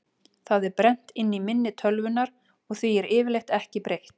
Það er brennt inn í minni tölvunnar og því er yfirleitt ekki breytt.